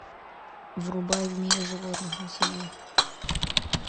врубай в мире животных на тиви